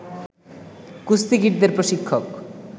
কুস্তিগীরদের প্রশিক্ষক